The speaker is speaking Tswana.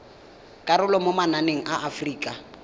karolo mo mananeng a aforika